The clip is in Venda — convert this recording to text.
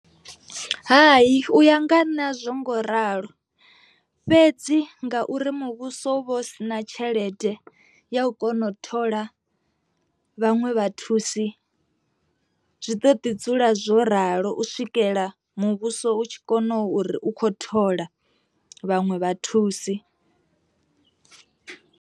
Hai u ya nga nṋ azwo ngoralo fhedzi nga uri muvhuso vho sina tshelede ya u kona u thola vhaṅwe vhathusi, zwi ḓo ḓi dzula zwo ralo u swikela muvhuso u tshi kona uri u kho thola vhaṅwe vha thusi.